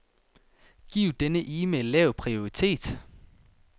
Giv denne e-mail lav prioritet.